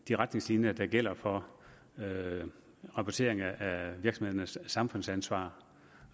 de retningslinjer der gælder for rapportering af virksomhedernes samfundsansvar